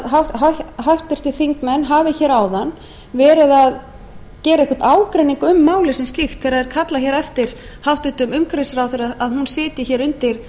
mér hvort háttvirtir þingmenn hafi áðan verið að gera einhvern ágreining um málið sem slíkt þegar kallað er eftir hæstvirtur umhverfisráðherra að hún sitji undir